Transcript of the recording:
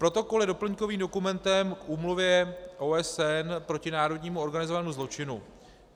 Protokol je doplňkovým dokumentem k Úmluvě OSN proti národnímu organizovanému zločinu.